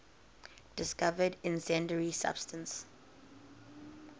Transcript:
discovered incendiary substance